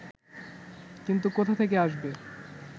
কিন্তু কোথা থেকে আসবে